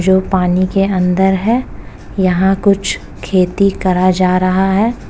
जो पानी के अंदर है। यहां कुछ खेती करा जा रहा है।